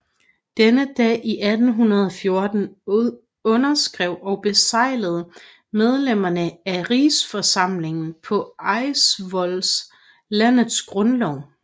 Denne dag i 1814 underskrev og beseglede medlemmerne af Rigsforsamlingen på Eidsvoll landets grundlov